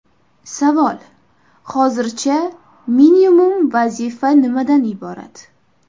Savol: Hozircha, minimum vazifa nimadan iborat?